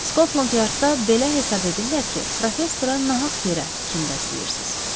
Skotland Yardda belə hesab edirlər ki, professora nahaq yerə kin bəsləyirsiz.